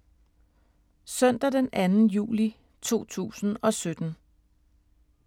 Søndag d. 2. juli 2017